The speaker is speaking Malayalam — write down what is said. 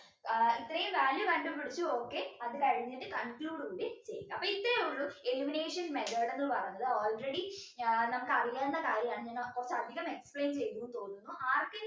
അഹ് ഇത്രയും value കണ്ട് പിടിച്ചു okay അത് കഴിഞ്ഞിട്ട് conclude കൂടി ചെയ്യുക അപ്പൊ ഇത്രയേയുള്ളൂ elimination method എന്ന പറഞ്ഞത് already ഞ നമുക്ക് അറിയാവുന്ന കാര്യാണ് ഞാൻ കൊറച്ചു അധികം explain ചെയ്തു എന്ന തോന്നുന്നു ആർക്കെങ്കിലും